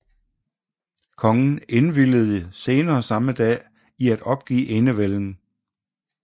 Kongen indvilgede senere samme dag i at opgive enevælden